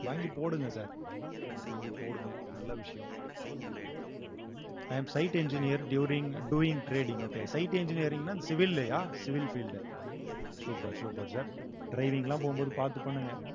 வாங்கிப் போடுங்க sir வாங்கிப் போடுங்க நல்ல விஷயம் i am site engineer during doing trading okay site engineering ன்னா அந்த civil லயா civil field super super sir driving லாம் போகும்போது பாத்து பண்ணுங்க